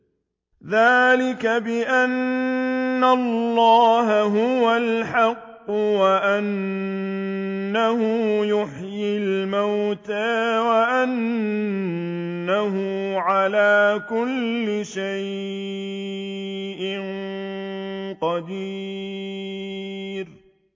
ذَٰلِكَ بِأَنَّ اللَّهَ هُوَ الْحَقُّ وَأَنَّهُ يُحْيِي الْمَوْتَىٰ وَأَنَّهُ عَلَىٰ كُلِّ شَيْءٍ قَدِيرٌ